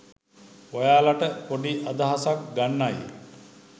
ඔයාලට පොඩි අදහසක් ගන්නයි.